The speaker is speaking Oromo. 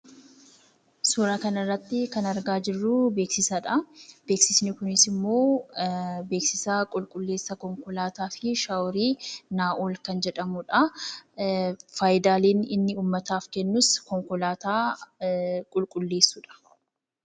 Suuraa kanarratti kan argaa jirru, beeksisadha. Beeksifni kunisimmoo beeksisa qulqulleessa konkolaataa fi shaaworii Naa'ol kan jedhamudha. Fayidaaleen inni uummataaf kennus; konkolaataa qulqulleessuudha.